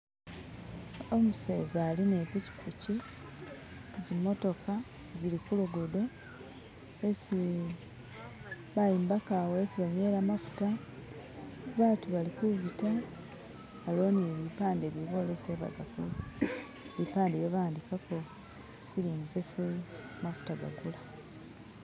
Umuseza ali nepikipiki zimotoka, zilikulugudo isi bayombeka awo isi banywela mafuta, batu bali kubiita aliyo ne'bipande bibolesa e'bazakunywa, bipande e'byo bawandikako silingi zesi mafuta gagula.